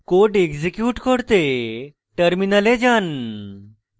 code execute করতে terminal যান